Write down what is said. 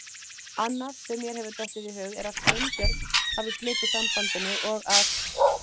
Annað sem mér hefur dottið í hug er að Sveinbjörn hafi slitið sambandinu og að